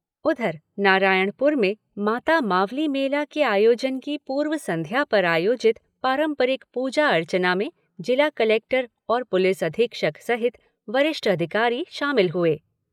उधर, नारायणपुर में माता मावली मेला के आयोजन की पूर्व संध्या पर आयोजित पांरपरिक पूजा अर्चना में जिला कलेक्टर और पुलिस अधीक्षक सहित वरिष्ठ अधिकारी शामिल हुए।